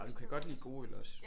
Nå du kan godt lide gode øl også